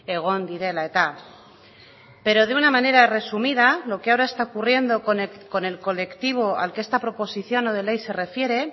egon direla eta pero de una manera resumida lo que ahora está ocurriendo con el colectivo al que esta proposición no de ley se refiere